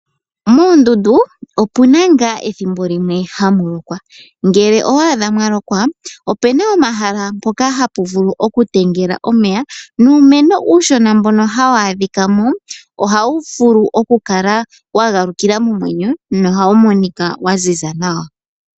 Moondundu opuna ngaa ethimbo limwe hamu lokwa. Ngele owa adha mwa lokwa opena omahala mpoka hapu vulu okutengela omeya, nuumeno uushona mbono hawu adhika mo ohawu vulu okukala wa galukila momwenyo nohawu monika wa ziza nawa.